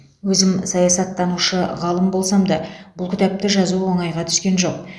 өзім саясаттанушы ғалым болсам да бұл кітапты жазу оңайға түскен жоқ